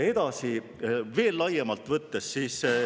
Edasi, veel laiemalt võttes.